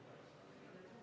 Vaheaeg kümme minutit.